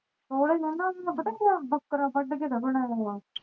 ਬੱਕਰਾ ਵੱਢ ਕ